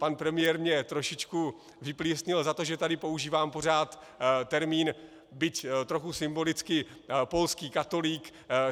Pan premiér mě trošičku vyplísnil za to, že tady používám pořád termín, byť trochu symbolicky, polský katolík.